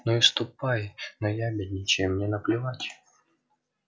ну и ступай наябедничай мне наплевать